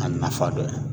A nafa dɔ ye